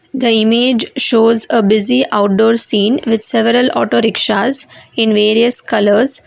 the image shows a busy outdoor scene with several auto rickshaws in various colours.